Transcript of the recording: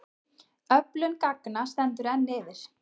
Öflun gagna stendur enn yfir.